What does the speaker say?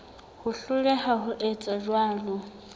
ho hloleha ho etsa jwalo